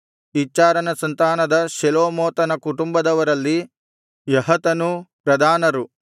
ಇಚ್ಹಾರನ ಸಂತಾನದ ಶೆಲೋಮೋತನ ಕುಟುಂಬದವರಲ್ಲಿ ಯಹತನೂ ಪ್ರಧಾನರು